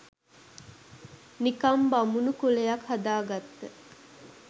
නිකන් බමුනු කුලයක් හදාගත්ත